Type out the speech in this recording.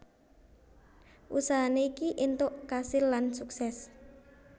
Usahane iki intok kasil lan sukses